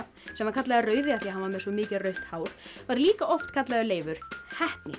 sem var kallaður rauði af því hann var með svo mikið rautt hár var líka kallaður Leifur heppni